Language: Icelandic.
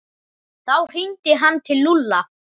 Þá hringdi hann til Lúlla.